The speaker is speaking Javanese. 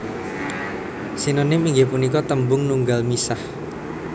Sinonim inggih punika tembung nunggal misah